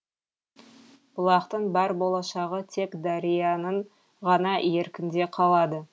бұлақтың бар болашағы тек дарияның ғана еркінде қалады